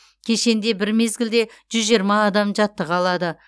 кешенде бір мезгілде жүз жиырма адам жаттыға алады